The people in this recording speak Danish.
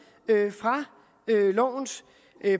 fra lovens